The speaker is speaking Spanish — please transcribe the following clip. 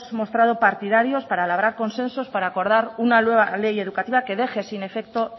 mostrado partidarios para labrar consensos para acordar una nueva ley educativa que deje sin efecto